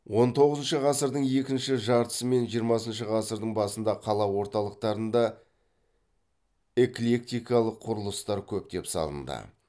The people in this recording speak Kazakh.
он тоғызыншы ғасырдың екінші жартысы мен жиырмасыншы ғасырдың басында қала орталықтарында эклектикалық құрылыстар көптеп салынды